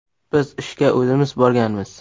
Biz ishga o‘zimiz borganmiz.